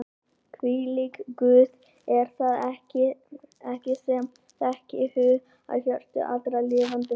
Hvílíkur Guð er það ekki sem þekkir hug og hjörtu allra lifandi manna?